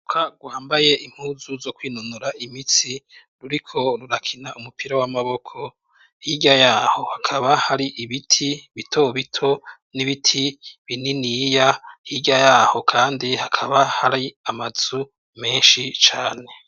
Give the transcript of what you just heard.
Uka rwambaye impuzu zo kwinunura imitsi ruriko rurakina umupira w'amaboko hija yaho hakaba hari ibiti bito bito n'ibiti binini yiya hija yaho kandi hakaba hari amatzu menshi cane.